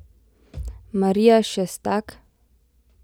Marija Šestak?